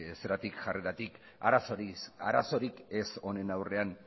jarreratik arazorik ez honen aurrean